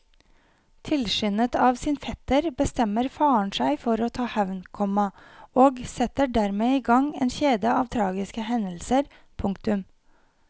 Tilskyndet av sin fetter bestemmer faren seg for å ta hevn, komma og setter dermed i gang en kjede av tragiske hendelser. punktum